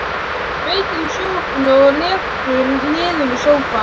Kveikir á sjónvarpinu og lekur niður í sófann.